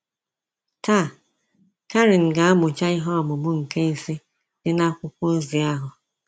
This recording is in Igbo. Taa, Karen ga-amụcha ihe ọmụmụ nke ise dị na akwụkwọ ozi ahụ.